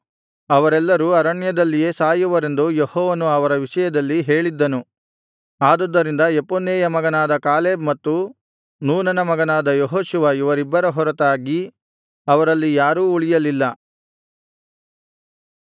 ಅವರೆಲ್ಲರೂ ಅರಣ್ಯದಲ್ಲಿಯೇ ಸಾಯುವರೆಂದು ಯೆಹೋವನು ಅವರ ವಿಷಯದಲ್ಲಿ ಹೇಳಿದ್ದನು ಆದುದರಿಂದ ಯೆಫುನ್ನೆಯ ಮಗನಾದ ಕಾಲೇಬ್ ಮತ್ತು ನೂನನ ಮಗನಾದ ಯೆಹೋಶುವ ಇವರಿಬ್ಬರ ಹೊರತಾಗಿ ಅವರಲ್ಲಿ ಯಾರೂ ಉಳಿಯಲಿಲ್ಲ